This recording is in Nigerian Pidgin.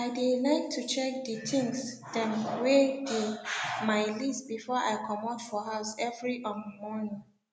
i de like to check de things dem wey de my list before i comot for house every um morning